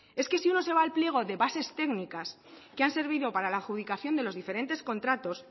es que si uno se va al pliego de bases técnicas que han servido para la adjudicación de los diferentes contratos